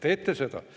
Te teete seda.